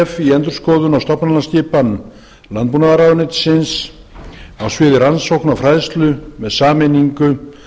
í endurskoðun á stofnlánaskipan landbúnaðarráðuneytisins á sviði rannsókna og fræðslu með sameiningu